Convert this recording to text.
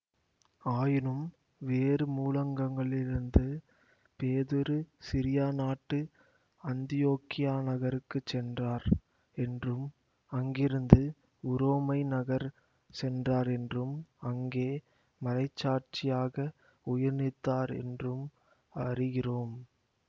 ஆயினும் வேறு மூலங்களிலிருந்து பேதுரு சிரியா நாட்டு அந்தியோக்கியா நகருக்குச் சென்றார் என்றும் அங்கிருந்து உரோமை நகர் சென்றார் என்றும் அங்கே மறைச்சாட்சியாக உயிர்நீத்தார் என்றும் அறிகிறோம்